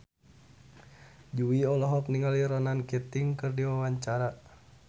Jui olohok ningali Ronan Keating keur diwawancara